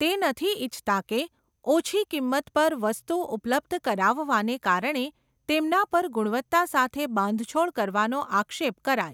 તે નથી ઇચ્છતા કે, ઓછી કિંમત પર વસ્તુ ઉપલબ્ધ કરાવવાને કારણે, તેમના પર ગુણવત્તા સાથે બાંધછોડ કરવાનો આક્ષેપ કરાય.